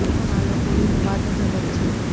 પણ આ લોકોની તો વાત જ અલગ છે